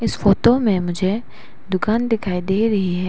इस फोटो में मुझे दुकान दिखाई दे रही है।